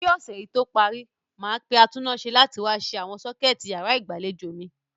Kí ọ̀sẹ̀ yí tó parí, màá pe atúnnáse láti wá se sọ́kẹ̀tì yàrá ìgbàlejò mi.